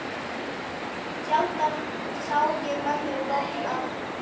Sjaldan sá ég mömmu bogna.